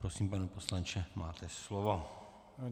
Prosím, pane poslanče, máte slovo.